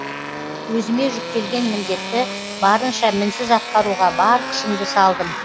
өзіме жүктелген міндетті барынша мінсіз атқаруға бар күшімді салдым